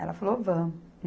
Ela falou, vamos.